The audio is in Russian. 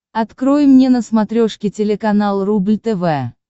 открой мне на смотрешке телеканал рубль тв